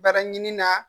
Baraɲinina